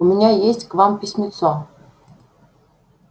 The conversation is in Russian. у меня есть к вам письмецо